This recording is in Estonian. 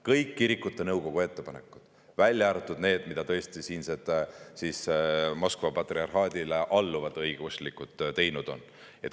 Kõik kirikute nõukogu ettepanekud, välja arvatud need, mida tegid siinsed Moskva patriarhaadile alluvad õigeusklikud.